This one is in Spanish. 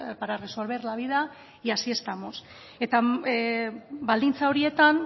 para resolver la vida y así estamos eta baldintza horietan